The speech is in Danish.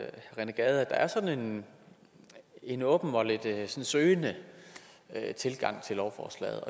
der er sådan en åben og lidt søgende tilgang til lovforslaget